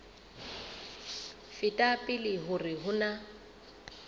feta pele hore ho na